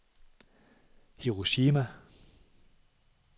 Hiroshima